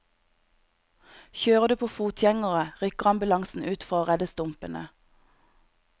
Kjører du på fotgjengere, rykker ambulansen ut for å redde stumpene.